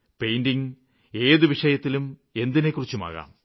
painting ഏതു വിഷയത്തിലും എന്തിനെക്കുറിച്ചുമാകാം